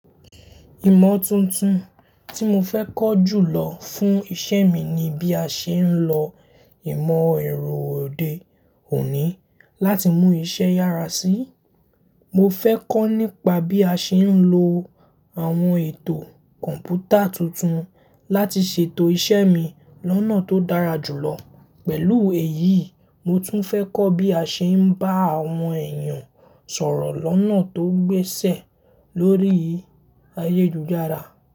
Ìmọ̀ tuntun tí mo fẹ́ kọ́ jùlọ fún iṣẹ́ mi ni bí a ṣe ń lo ìmọ̀ ẹ̀rọ òde òní láti mú iṣẹ́ yára sí. Mo fẹ́ kọ́ nípa bí a ṣe ń lo àwọn ètò kọ̀ǹpútà tuntun láti ṣètò iṣẹ́ mi lọ́nà tó dára jùlọ. Pẹ̀lú èyí, mo tún fẹ́ kọ́ bí a ṣe ń bá àwọn èèyàn sọ̀rọ̀ lọ́nà tó gbéṣẹ lórí ayélujára.